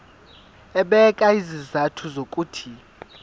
ebeka izizathu zokuthi